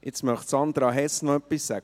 Möchte nun Sandra Hess noch etwas sagen?